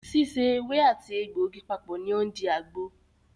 Síse ewé àti àti egbògi papọ̀ ní o ń di àgbo.